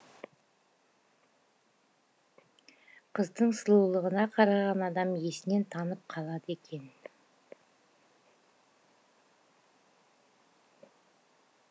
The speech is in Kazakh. қыздың сұлулығына қараған адам есінен танып қалады екен